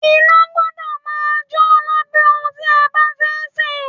Iná gbọ́dọ̀ máa jò lábẹ́ ohun tí a bá fẹ́ sè.